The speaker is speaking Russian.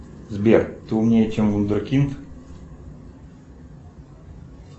сбер ты умнее чем вундеркинд